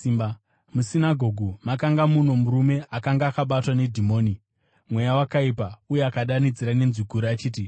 Musinagoge makanga muno murume akanga akabatwa nedhimoni, mweya wakaipa, uye akadanidzira nenzwi guru achiti,